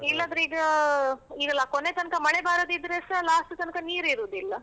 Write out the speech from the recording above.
ಇಲ್ಲಾದ್ರೆ. ಈಗ ಈಗೆಲ್ಲ ಕೊನೆ ತನ್ಕ ಮಳೆ ಬಾರದಿದ್ರೆಸಾ last ತನ್ಕಸ ನೀರಿರುದಿಲ್ಲ.